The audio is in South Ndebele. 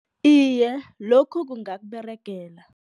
Iye, lokhu kungaberegela.